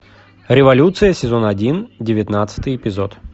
революция сезон один девятнадцатый эпизод